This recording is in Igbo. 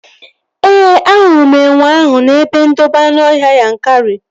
Ee, ahụrụ m enwe ahụ n'ebe ndobe anụọhịa Yankari